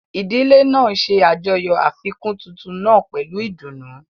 Ìdílé náà ń ṣe àjọyọ̀ àfikún tuntun náà pẹ̀lú ìdùnnú.